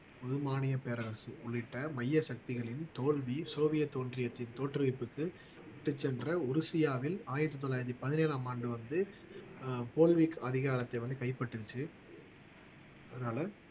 புதுமானிய பேரரசு உள்ளிட்ட மைய சக்திகளின் தோல்வி சோவியத் தோன்றியத்தின் தோற்றுவிப்புக்கு விட்டுச் சென்ற ஒருசியாவில் ஆயிரத்து தொள்ளாயிரத்து பதினேழாம் ஆண்டு வந்து ஆஹ் அதிகாரத்தை வந்து கைப்பற்றுச்சு அதனால